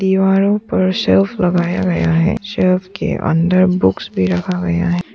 दीवारों पर शेल्फ लगाया गया है शेल्फ के अंदर बुक्स भी रखा गया है।